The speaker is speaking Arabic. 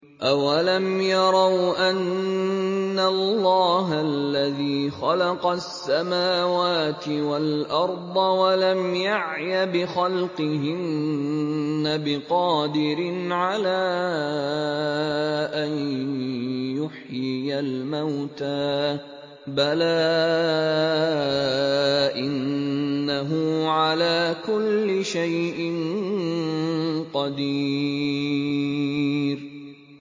أَوَلَمْ يَرَوْا أَنَّ اللَّهَ الَّذِي خَلَقَ السَّمَاوَاتِ وَالْأَرْضَ وَلَمْ يَعْيَ بِخَلْقِهِنَّ بِقَادِرٍ عَلَىٰ أَن يُحْيِيَ الْمَوْتَىٰ ۚ بَلَىٰ إِنَّهُ عَلَىٰ كُلِّ شَيْءٍ قَدِيرٌ